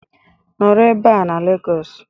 Nọrọ ebe a na Lagos